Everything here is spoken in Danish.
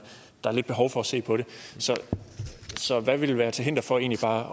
at lidt behov for at se på så hvad vil være til hinder for egentlig bare